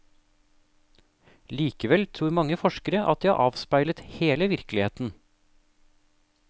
Likevel tror mange forskere at de har avspeilet hele virkeligheten.